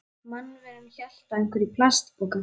Mannveran hélt á einhverju í plastpoka.